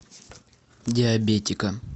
диабетика